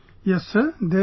Yes Sir...there is